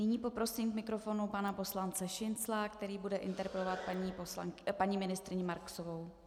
Nyní poprosím k mikrofonu pana poslance Šincla, který bude interpelovat paní ministryně Marksovou.